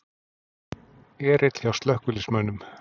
Erill hjá slökkviliðsmönnum